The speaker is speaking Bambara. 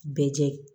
Bɛɛ jɛ